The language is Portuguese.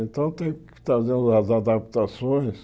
Então teve que fazer umas adaptações.